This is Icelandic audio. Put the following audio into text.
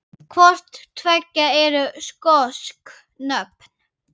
Hvort tveggja eru skosk nöfn.